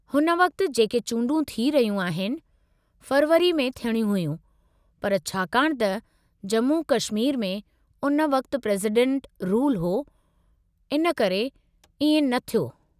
हुन वक़्ति जेके चूंडूं थी रहियूं आहिनि, फ़रवरी में थियणियूं हुयूं, पर छाकाणि त जम्मू-कश्मीर में उन वक़्ति प्रेज़ीडेंटु रूलु हो, हिन करे इएं न थियो।